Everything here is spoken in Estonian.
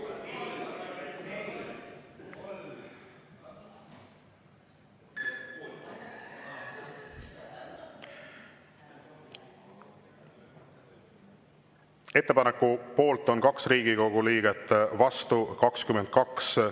Ettepaneku poolt on 2 Riigikogu liiget, vastu 22.